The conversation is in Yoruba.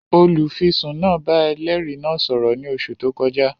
Olùfisùn náà bá ẹlẹ́rìí náà sọ̀rọ̀ ní oṣù tó kọjá